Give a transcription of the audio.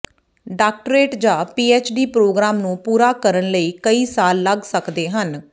doctorate ਜਾਂ PhD programme ਨੂੰ ਪੂਰਾ ਕਰਨ ਲਈ ਕਈ ਸਾਲ ਲੱਗ ਸਕਦੇ ਹਨ